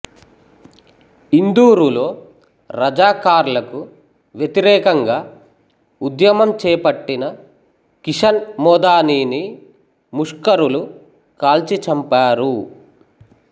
ఇందూరులో రజాకార్లకు వ్యతిరేకంగా ఉద్యమం చేపట్టిన కిషన్ మోదానిని ముష్కరులు కాల్చిచంపారు